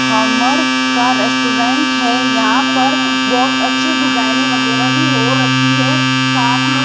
हमर का रेस्टोरेंट है यहां पर बहोत अच्छे डिजाइनें वगैरह भी हो रखी है साथ में --